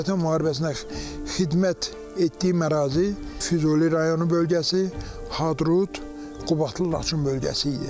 Vətən müharibəsində xidmət etdiyim ərazi Füzuli rayonu bölgəsi, Hadrut, Qubadlı, Laçın bölgəsi idi.